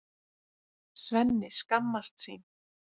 Svenni skammast sín.